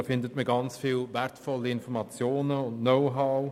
Darauf findet man sehr viele wertvolle Informationen und Know-how.